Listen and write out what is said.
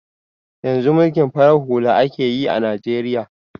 Yanzu mulkin farar hula akeyi a najeriya